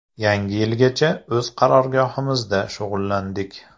Yangi yilgacha o‘z qarorgohimizda shug‘ullandik.